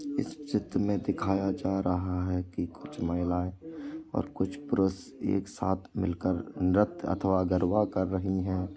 इस चित्र में दिखाया जा रहा है की कुछ महिलाए और कुछ पुरुष एक साथ मिल कर नृत्य अथवा गरबा कर रही हैं।